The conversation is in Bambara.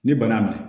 Ni bana bɛ